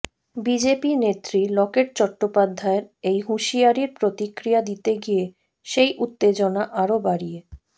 BJP নেত্রী লকেট চট্টোপাধ্যায়ের এই হুঁশিয়ারির প্রতিক্রিয়া দিতে গিয়ে সেই উত্তেজনা আরও বাড়িয়ে